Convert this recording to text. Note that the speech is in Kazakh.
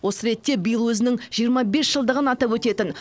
осы ретте биыл өзінің жиырма бес жылдығын атап өтетін